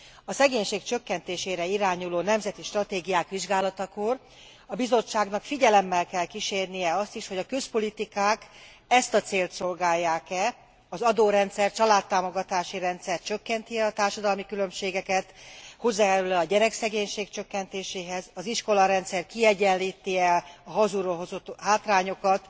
A szegénység csökkentésére irányuló nemzeti stratégiák vizsgálatakor a Bizottságnak figyelemmel kell kísérnie azt is, hogy a közpolitikák ezt a célt szolgálják e, az adórendszer, családtámogatási rendszer csökkenti e a társadalmi különbségeket, hozzájárul e a gyerekszegénység csökkentéséhez, az iskolarendszer kiegyenlíti e a hazulról hozott hátrányokat,